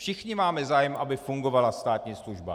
Všichni máme zájem, aby fungovala státní služba.